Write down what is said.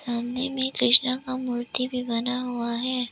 सामने में कृष्णा का मूर्ति भी बना हुआ है।